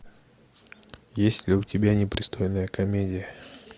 есть ли у тебя непристойная комедия